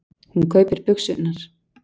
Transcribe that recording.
Hún kaupir buxurnar.